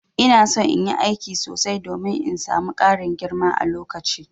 Ina son in yi aiki sosai domin in samu Karin girma a lokaci.